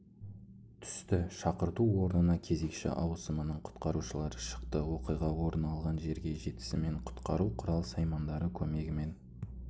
түсті шақырту орнына кезекші аусымының құтқарушылары шықты оқиға орын алған жерге жетісімен құтқару құрал-саймандары көмегімен